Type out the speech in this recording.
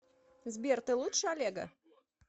сбер ты лучше олега